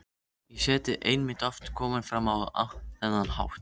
í seti einmitt oft komin fram á þennan hátt.